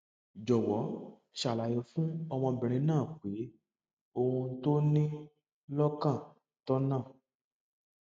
jọ́wọ́ ṣàlàyé fún ọmọbìnrin náà pé ohun tó o ní lọ́kàn tọ̀nà